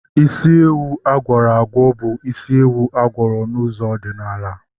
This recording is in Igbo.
Isi ewu agwọrọ agwọ bụ isi ewu agwọrọ n'ụzọ ọdịnala